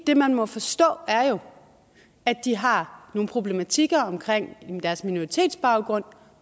det man må forstå er jo at de har nogle problematikker omkring deres minoritetsbaggrund